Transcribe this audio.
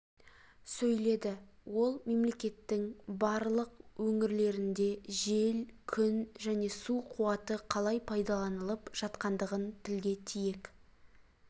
сөйледі ол мемлекеттің барлық өңірлерінде жел күн және су қуаты қалай пайдаланылып жатқандығын тілге тиек